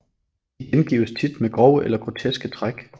De gengives tit med grove eller groteske træk